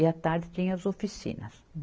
E a tarde tinha as oficinas.